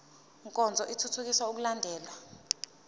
nkonzo ithuthukisa ukulandelwa